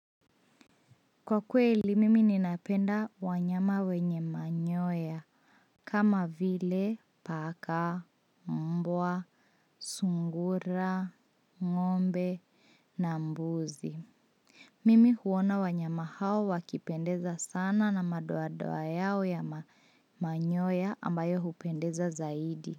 Kwa kweli, mimi ninapenda wanyama wenye manyoya kama vile paka, mbwa, sungura, ng'ombe na mbuzi. Mimi huona wanyama hao wakipendeza sana na madoadoa yao ya manyoya ambayo hupendeza zaidi.